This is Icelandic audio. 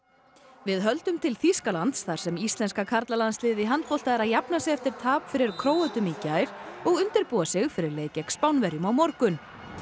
við höldum til Þýskalands þar sem íslenska karlalandsliðið í handbolta er að jafna sig eftir tap fyrir Króötum í gær og undirbúa sig fyrir leik gegn Spánverjum á morgun